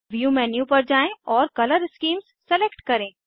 view menu पर जाएँ और कलर स्कीम्स सलेक्ट करें